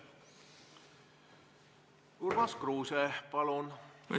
Urmas Kruuse, palun!